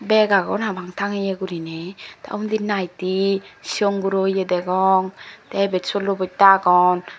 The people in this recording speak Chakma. rek agon habang tangeye guriney tey undi naightee sigon guro ye degong tey ibet solo bosta agon.